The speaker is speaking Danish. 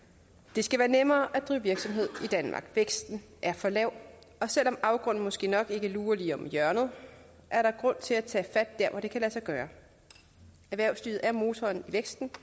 det skal være nemmere at drive virksomhed i danmark væksten er for lav og selv om afgrunden måske nok ikke lurer lige om hjørnet er der grund til at tage fat der hvor det kan lade sig gøre erhvervslivet er motoren i væksten